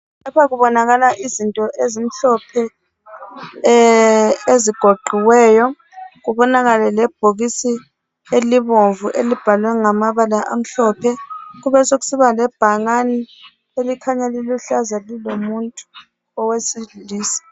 Lapha kubonakala izinto ezimhlophe ezigoqiweyo kubonakale le bhokisi elibomvu elibhalwe ngamabala amhlophe kube sokusiba le bhakani elikhanya liluhlaza lilomuntu owesilisa.